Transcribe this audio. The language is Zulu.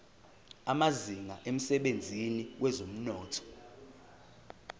amazinga emsebenzini wezomnotho